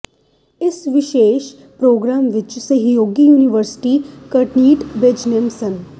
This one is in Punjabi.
ਇਸ ਵਿਸ਼ੇਸ਼ ਪ੍ਰਰੋਗਰਾਮ ਵਿਚ ਸਹਿਯੋਗੀ ਯੂਨੀਵਰਸਿਟੀ ਕਰਟਿਨ ਬਿਜ਼ਨੈੱਸ ਸ